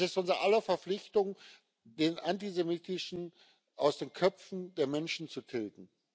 Es ist unser aller Verpflichtung, den Antisemitismus aus den Köpfen der Menschen zu tilgen.